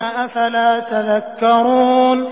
أَفَلَا تَذَكَّرُونَ